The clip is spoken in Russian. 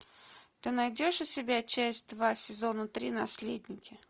ты найдешь у себя часть два сезона три наследники